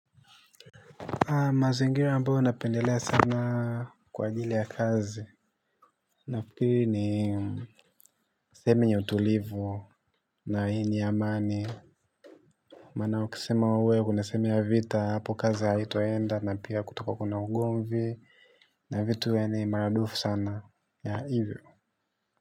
Mazingira ambayo napendelea sana kwa ajili ya kazi, nafikiri ni sehemu yenye utulivu na yenye amani. Maana ukisema uwe unasemea vita hapo kazi haitaenda na pia kutakuwa kuna ugonvi na vitu yaani ni mara dufu sana ya hivyo.